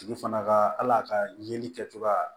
Tigi fana ka hali a ka yeli kɛ cogoya